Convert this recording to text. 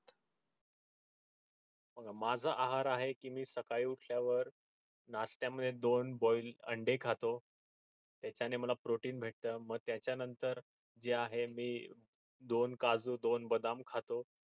बघा माझा आहार आहे की मी सकाळी उठल्यावर नाशट्या मध्ये दोन boil अंडे खातो त्याच्याने मला protein भेटत म त्याच्या नंतर जे आहे मी दोन काजू दोन बदाम खातो